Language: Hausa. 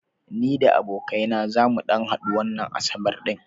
Ni da abokai na zamu ɗan hadu wannan asabar ɗin.